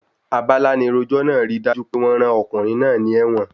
Abalánirojọ́ náà ríi dájú pé wọ́n rán ọkùnrin náà ní ẹ́wọ̀n.